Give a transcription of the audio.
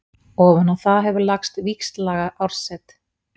Ofan á það hefur lagst víxllaga árset.